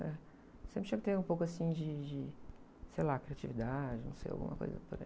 É, sempre tinha que ter um pouco assim de, de, de, sei lá, criatividade, não sei, alguma coisa por aí.